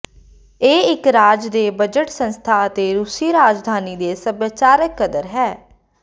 ਇਹ ਇੱਕ ਰਾਜ ਦੇ ਬਜਟ ਸੰਸਥਾ ਅਤੇ ਰੂਸੀ ਰਾਜਧਾਨੀ ਦੇ ਸੱਭਿਆਚਾਰਕ ਕਦਰ ਹੈ